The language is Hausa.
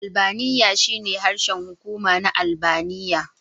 Albaniya shine harshen hukuma na Albaniya.